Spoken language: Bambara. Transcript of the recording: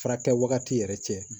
Fara kɛ wagati yɛrɛ cɛ